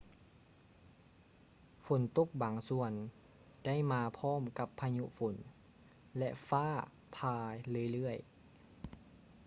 ຝົນຕົກບາງສ່ວນໄດ້ມາພ້ອມກັບພາຍຸຝົນ ແລະ ຟ້າຝ່າເລື້ອຍໆ